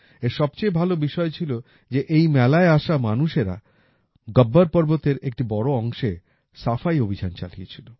এর সবচেয়ে ভালো বিষয় ছিল যে এই মেলায় আসা মানুষরা গব্বর পর্বতের একটি বড় অংশে সাফাই অভিযান চালিয়েছিল